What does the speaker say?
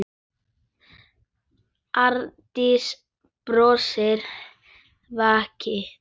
Arndís brosir veikt.